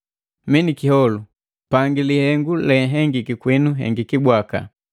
Mii niki kiholu, pangi lihengu lehengiki kwinu hengiki bwaka.